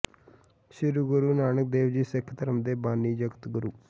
ਸ੍ਰੀ ਗੁਰੂ ਨਾਨਕ ਦੇਵ ਜੀ ਸਿਖ ਧਰਮ ਦੇ ਬਾਨੀ ਜਗਤ ਗੁਰੂ